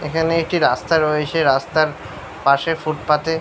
এখানে একটি রাস্তা রয়েছে রাস্তার পাশে ফুটপাথ -এ ।